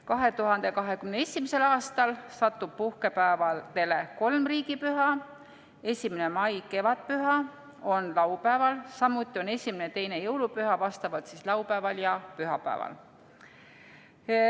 2021. aastal satub puhkepäevadele kolm riigipüha: 1. mai, kevadpüha, on laupäeval, samuti on esimene ja teine jõulupüha vastavalt laupäeval ja pühapäeval.